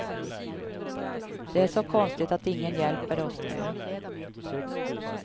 Det är så konstigt att ingen hjälper oss nu.